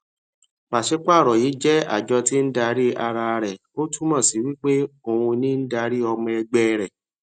pàṣípààrọ yìí jé àjọ tí n darí ara rẹ ó túmọ sí wípé òun ní darí ọmọ ẹgbẹ rẹ